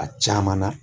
A caman na